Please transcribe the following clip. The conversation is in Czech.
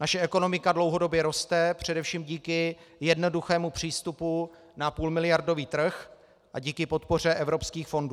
Naše ekonomika dlouhodobě roste, především díky jednoduchému přístupu na půlmiliardový trh a díky podpoře evropských fondů.